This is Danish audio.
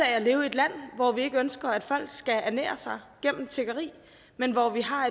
at leve i et land hvor vi ikke ønsker at folk skal ernære sig gennem tiggeri men hvor vi har